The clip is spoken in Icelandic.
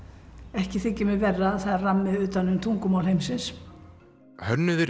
ekki þykir mér verra að það er rammi utan um tungumál heimsins hönnuðir